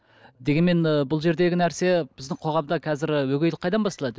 дегенмен ы бұл жердегі нәрсе біздің қоғамда қазір өгейлік қайдан басталады